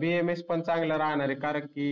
BMS पन चांगला राहणार आहे कारण की